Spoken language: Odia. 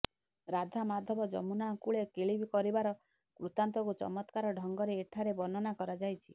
ରାଧା ମାଧବ ଯମୁନା କୂଳେ କେଳି କରିବାର ବୃତ୍ତାନ୍ତକୁ ଚମତ୍କାର ଢଙ୍ଗରେ ଏଠାରେ ବର୍ଣ୍ଣନା କରାଯାଇଛି